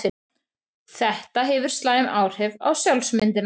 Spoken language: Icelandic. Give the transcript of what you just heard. Þetta hefur slæm áhrif á sjálfsmyndina.